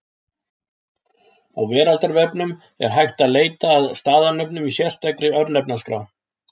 Á Veraldarvefnum er hægt að leita að staðarnöfnum í sérstakri Örnefnaskrá.